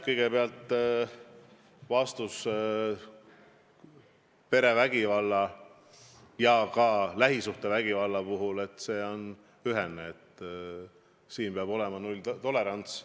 Kõigepealt, mis puutub perevägivalda ja ka lähisuhtevägivalda, siis vastus on ühene: selles osas peab olema nulltolerants.